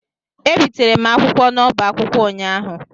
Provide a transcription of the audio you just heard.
Ebitere m akwụkwọ n'oba akwụkwọ ụnyaahụ.